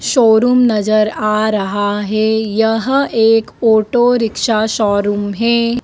Showroom नजर आ रहा है यह एक ऑटोरिक्शा शोरूम है।